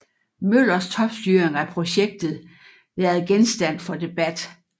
Møllers topstyring af projektet været genstand for debat